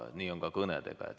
Nii on ka kõnedega.